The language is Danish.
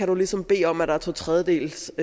du ligesom bede om at der er to tredjedeles